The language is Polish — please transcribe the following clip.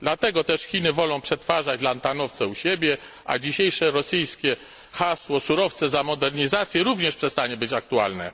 Dlatego też Chiny wolą przetwarzać lantanowce u siebie, a dzisiejsze rosyjskie hasło surowce za modernizację również przestanie być aktualne.